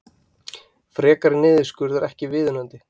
Frekari niðurskurður ekki viðunandi